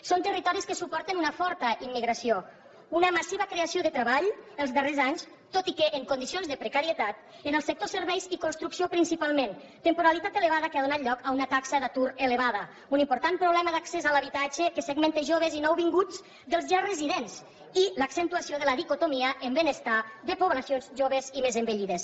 són territoris que suporten una forta immigració una massiva creació de treball els darrers anys tot i que en condicions de precarietat en els sectors serveis i construcció principalment temporalitat elevada que ha donat lloc a una taxa d’atur elevada un important problema d’accés a l’habitatge que segmenta joves i nouvinguts dels ja residents i l’accentuació de la dicotomia en benestar de poblacions joves i més envellides